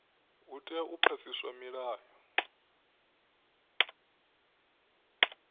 hu tea u phasiswa milayo